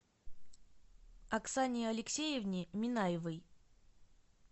оксане алексеевне минаевой